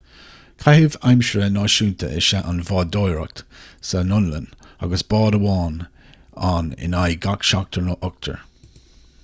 caitheamh aimsire náisiúnta is ea an bhádóireacht san fhionlainn agus bád amháin ann in aghaidh gach seachtar nó ochtar